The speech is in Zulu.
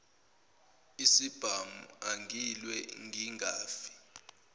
isibhamu angilwe ngingafi